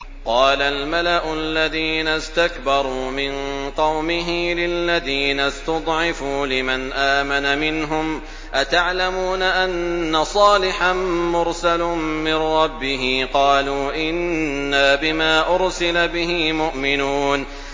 قَالَ الْمَلَأُ الَّذِينَ اسْتَكْبَرُوا مِن قَوْمِهِ لِلَّذِينَ اسْتُضْعِفُوا لِمَنْ آمَنَ مِنْهُمْ أَتَعْلَمُونَ أَنَّ صَالِحًا مُّرْسَلٌ مِّن رَّبِّهِ ۚ قَالُوا إِنَّا بِمَا أُرْسِلَ بِهِ مُؤْمِنُونَ